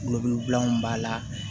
bilanw b'a la